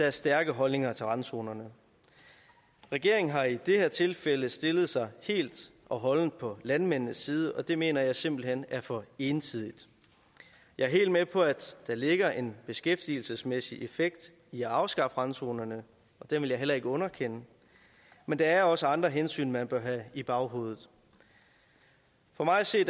er stærke holdninger til randzonerne regeringen har i det her tilfælde stillet sig helt og holdent på landmændenes side og det mener jeg simpelt hen er for ensidigt jeg er helt med på at der ligger en beskæftigelsesmæssig effekt i at afskaffe randzonerne og den vil jeg heller ikke underkende men der er også andre hensyn man bør have i baghovedet for mig at se